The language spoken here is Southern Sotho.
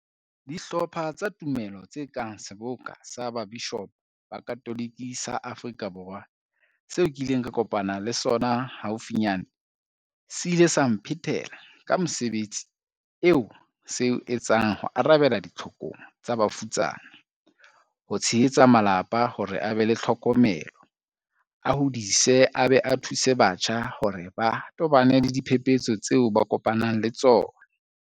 Dihlopha tsa tumelo tse kang Seboka sa Babishopo ba Katolike sa Aforika Borwa, seo ke ileng ka kopana le sona haufinyane, se ile sa mphetela ka mosebetsi oo se o etsang ho arabela ditlhokong tsa bafutsana, ho tshehetsa malapa hore a be le tlhokomelo, a hodise a be a thuse batjha hore ba tobane le diphepetso tseo ba kopanang le tsona.